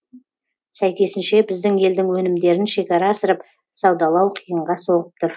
сәйкесінше біздің елдің өнімдерін шекара асырып саудалау қиынға соғып тұр